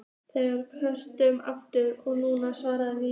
Þeir kölluðu aftur og nú svaraði ég.